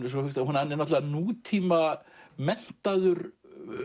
hann er nútíma menntaður